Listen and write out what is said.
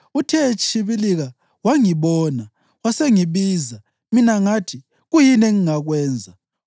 Uthe etshibilika wangibona, wasengibiza, mina ngathi, ‘Kuyini engingakwenza?’